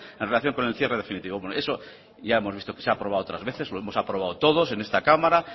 en relación con el cierre definitivo eso ya hemos visto que se ha aprobado otras veces lo hemos aprobado todos en esta cámara